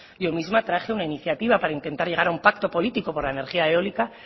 yo misma traje una iniciativa para intentar llegar a un pacto político por la energía eólica